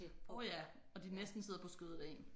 Åh ja og de næsten sidder på skødet af en